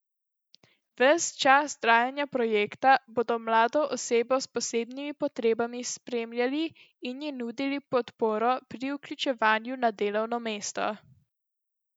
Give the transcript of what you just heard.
Ves čas trajanja projekta bodo mlado osebo s posebnimi potrebami spremljali in ji nudili podporo pri vključevanju na delovno mesto.